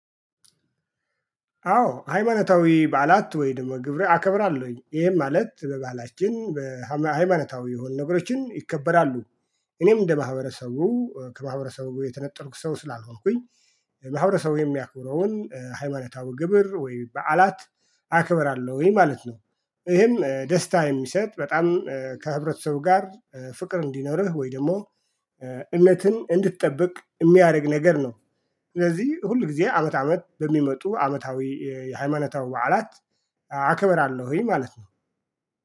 አዎ ሃይማናታዊ ባዓላት ወይ ደግሞ ግብር አከብራለሁኝ ይሄም ማለት በባህላችን በሃይማኖታዊ የሆኑ ነገሮችን ይከበራሉ። እኔም እንደ ማህበረሰቡ ከማህበረሰቡ የተነጠልኩ ሰው ስላልሆንኩኝ። ማህበረሰቡ የሚያክብረውን ሃይማኖታዊ ግብር ወይ በዓላት። አክብራለሁኝ ማለት ነው። ይሄም ደስታ የሚሰጥ በጣም ከህብረተሰቡ ጋር ፍቅር እንዲኖርህ ወይ ደግሞ እምነትን እንድትጠብቅ የሚያደርግ ነገር ነው። ስለዚህ ሁል ጊዜ አመት አመት በሚመጡ አመታዊ የሃይማናታዊ በዓላት። አክብራለሁኝ ማለት ነው